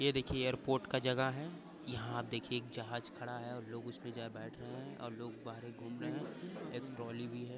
ये देखिए एयरपोर्ट का जगह है। यहाँ देखिए जहाज खड़ा है और लोग उसमे जा बैठ रहे है और लोग बाहर घूम रहे है। एक ट्रौली भी है।